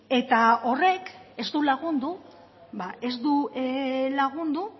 eta horrek ez du lagundu ba ez du lagundu